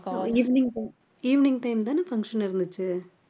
evening time evening time தானே function இருந்துச்சு